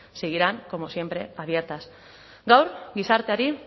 seguirán como siempre abiertas gaur gizarteari